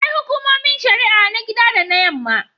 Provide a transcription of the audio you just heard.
Akwai Hukumomin Shari'a na gida da na Yamma.